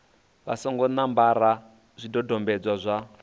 vha songo ṋambara zwidodombedzwa zwa